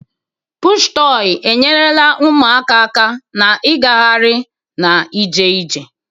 Pụshụ tọị enyerela ụmụaka aka na igahari na ije ije.